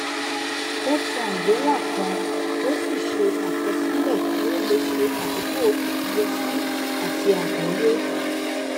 ó tan àbélà kan ó sì ṣe àkọsílẹ kí ó lè ṣe akókò ìfiyèsí àti àgbọyé